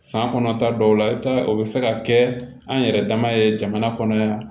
San kɔnɔta dɔw la i bɛ taa o bɛ se ka kɛ an yɛrɛ dama ye jamana kɔnɔ yan